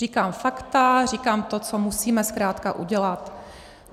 Říkám fakta, říkám to, co musíme zkrátka udělat.